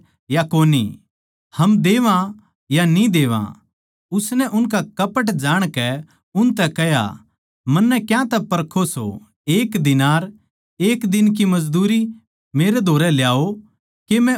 हम देवां या न्ही देवां उसनै उनका कपट जाणकै उनतै कह्या मन्नै क्यांतै परखो सो एक दीनार एक दिन की मजदूरी मेरै धोरै ल्याओ के मै उसनै देक्खूँ